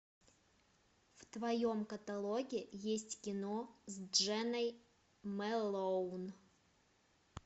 в твоем каталоге есть кино с дженой мэлоун